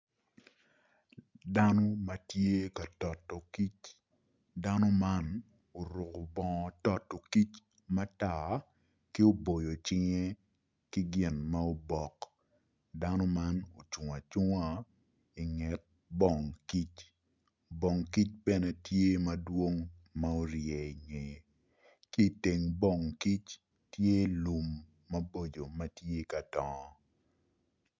Dano ma tye ka toto kic dano man oruko bongo toto kic matar ki oboyo cinge ki gin ma obok dano man ocung acunga inget bong kic bong kic bene tye madwong ma orye inge ki iteng bong kic tye lum mabocco ma tye ka dongo.